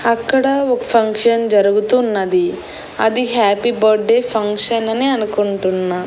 అక్కడ ఒక ఫంక్షన్ జరుగుతున్నది అది హ్యాపీ బడ్డే ఫంక్షన్ అని అనుకుంటున్నా.